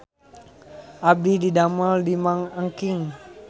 Abdi didamel di Mang Engking